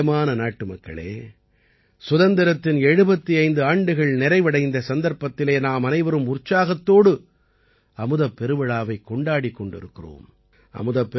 எனக்குப் பிரியமான நாட்டுமக்களே சுதந்திரத்தின் 75 ஆண்டுகள் நிறைவடைந்த சந்தர்ப்பத்திலே நாம் அனைவரும் உற்சாகத்தோடு அமுதப் பெருவிழாவைக் கொண்டாடிக் கொண்டிருக்கிறோம்